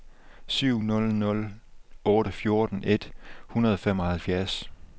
syv nul nul otte fjorten et hundrede og femoghalvfjerds